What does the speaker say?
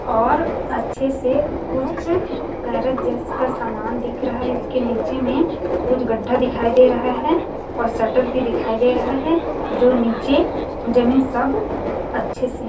और अच्छे से कुछ कारक जैस का समान दिख रहा है इसके नीचे में कुछ गड्डढा दिखाई दे रहा है और शटर भी दिखाई दे रहा है जो नीचे जमे सब अच्छे से--